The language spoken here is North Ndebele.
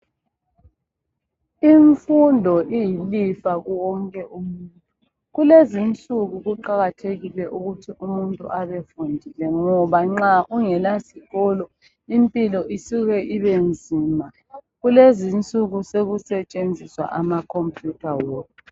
Imfundo iyilifa kuwonke umuntu, kulezinsuku kuqakathekile ukuthi umuntu abe fundile ngoba nxa ungela sikolo, impilo isuke ibe nzima. Kulezi nsuku sokusetshenziswa akhompuyutha wona.